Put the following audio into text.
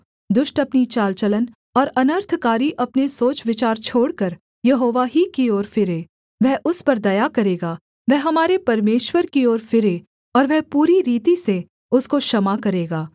दुष्ट अपनी चाल चलन और अनर्थकारी अपने सोचविचार छोड़कर यहोवा ही की ओर फिरे वह उस पर दया करेगा वह हमारे परमेश्वर की ओर फिरे और वह पूरी रीति से उसको क्षमा करेगा